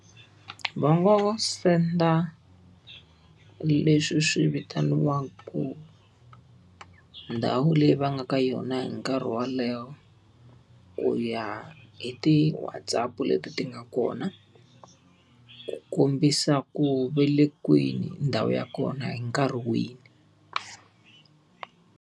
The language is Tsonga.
Va ngo vo senda leswi swi vitaniwaku ndhawu leyi va nga ka yona hi nkarhi wolowo, ku ya hi ti WhatsApp-u leti ti nga kona. Ku kombisa ku ve le kwini ndhawu ya kona hi nkarhi wihi.